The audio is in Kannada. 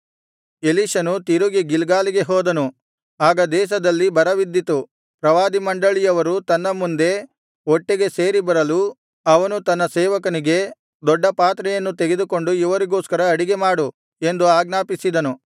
ಎಲೀಷನು ತಿರುಗಿ ಗಿಲ್ಗಾಲಿಗೆ ಹೋದನು ಆಗ ದೇಶದಲ್ಲಿ ಬರವಿದ್ದಿತು ಪ್ರವಾದಿಮಂಡಳಿಯವರು ತನ್ನ ಮುಂದೆ ಒಟ್ಟಿಗೆ ಸೇರಿ ಬರಲು ಅವನು ತನ್ನ ಸೇವಕನಿಗೆ ದೊಡ್ಡ ಪಾತ್ರೆಯನ್ನು ತೆಗೆದುಕೊಂಡು ಇವರಿಗೋಸ್ಕರ ಅಡಿಗೆ ಮಾಡು ಎಂದು ಆಜ್ಞಾಪಿಸಿದನು